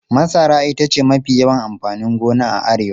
Masara ita ce mafi yawan amfanin gona a Arewa.